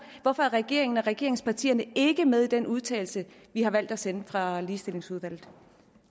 hvorfor er regeringen og regeringspartierne ikke med i den udtalelse vi har valgt at sende fra ligestillingsudvalget